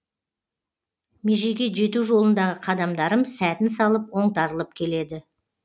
межеге жету жолындағы қадамдарым сәтін салып оңтарылып келеді